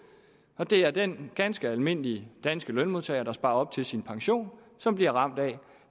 og det er den ganske almindelige danske lønmodtager der sparer op til sin pension som bliver ramt af